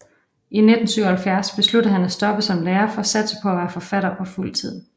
I 1977 besluttede han at stoppe som lærer for at satse på at være forfatter på fuld tid